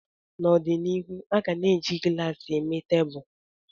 N'ọdịnihu, a ga na-eji glaasị eme tebụl